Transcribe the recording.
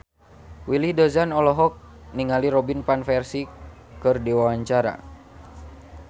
Willy Dozan olohok ningali Robin Van Persie keur diwawancara